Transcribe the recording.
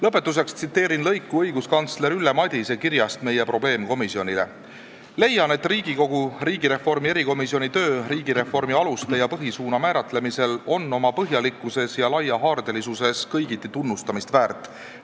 Lõpetuseks tsiteerin lõiku õiguskantsler Ülle Madise kirjast meie probleemkomisjonile: "Leian, et Riigikogu riigireformi erikomisjoni töö riigireformi aluste ja põhisuuna määratlemisel on oma põhjalikkuses ja laiahaardelisuses kõigiti tunnustamist väärt.